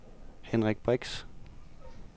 Henrik Brix